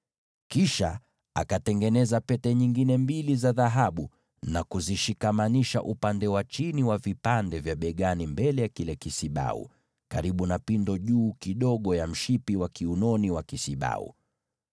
Kisha akatengeneza pete nyingine mbili za dhahabu na kuzishikamanisha sehemu ya chini ya vipande vya mabega upande wa mbele wa kile kisibau, karibu na pindo juu kidogo ya mshipi wa kiunoni wa kisibau.